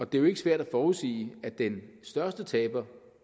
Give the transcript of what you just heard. det er jo ikke svært at forudsige at den største taber